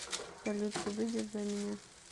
салют ты выйдешь за меня